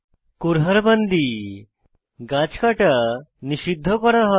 কুরহাদ বান্দি গাছ কাটা নিষিদ্ধ করা হয়